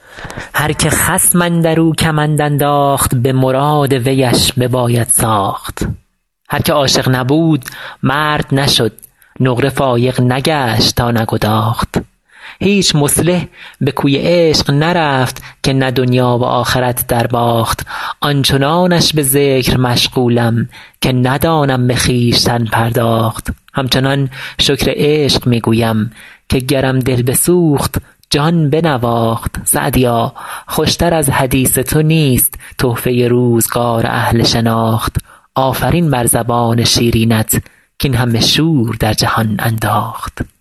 هر که خصم اندر او کمند انداخت به مراد ویش بباید ساخت هر که عاشق نبود مرد نشد نقره فایق نگشت تا نگداخت هیچ مصلح به کوی عشق نرفت که نه دنیا و آخرت درباخت آن چنانش به ذکر مشغولم که ندانم به خویشتن پرداخت همچنان شکر عشق می گویم که گرم دل بسوخت جان بنواخت سعدیا خوش تر از حدیث تو نیست تحفه روزگار اهل شناخت آفرین بر زبان شیرینت کاین همه شور در جهان انداخت